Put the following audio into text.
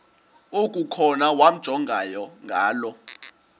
okukhona wamjongay ngaloo